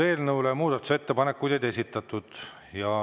Eelnõu kohta muudatusettepanekuid ei esitatud.